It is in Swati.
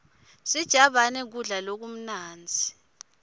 sijabane kudla lokumnandzi